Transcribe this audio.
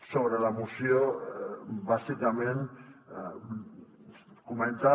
sobre la moció bàsicament comentar